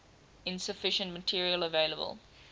insufficient material available